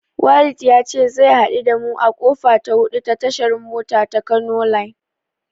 Walid ya ce zai haɗu da mu a kofa ta hudu ta tashar mota ta Kano line.